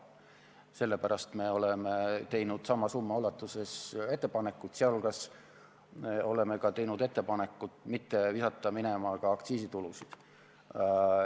Sellepärast me oleme teinud sama summa ulatuses ettepanekud, sh oleme ka teinud ettepaneku mitte visata minema aktsiisitulusid.